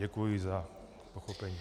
Děkuji za pochopení.